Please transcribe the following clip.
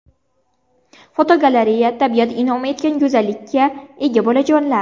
Fotogalereya: Tabiat in’om etgan go‘zallikka ega bolajonlar.